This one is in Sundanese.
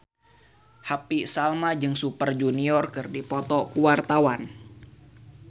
Happy Salma jeung Super Junior keur dipoto ku wartawan